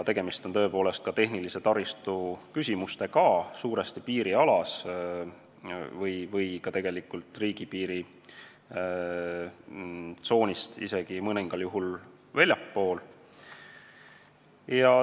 Suuresti on tegemist tehnilise taristu küsimustega piirialal, mõningal juhul isegi väljaspool riigipiiri tsooni.